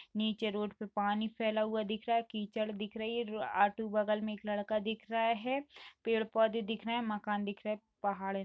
नीचे रोड पर पानी फैला हुआ दिख रहा है कीचड़ दिख रही है आजू बगल में एक लड़का दिख रहा है पेड़ पौधे दिख रहे हैं मकान दिख रहे हैं पहाड़ दिख रही --